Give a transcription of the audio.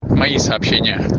в мои сообщения